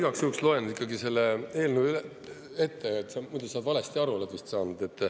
Ma igaks juhuks loen ikkagi selle eelnõu ette, sa muidu oled vist valesti aru saanud.